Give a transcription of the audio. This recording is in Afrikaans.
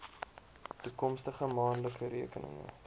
toekomstige maandelikse rekeninge